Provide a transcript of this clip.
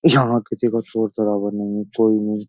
यहां किसी का शोर शरावर नहीं है कोई नहीं।